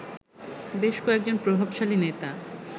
বেশ কয়েকজন প্রভাবশালী নেতা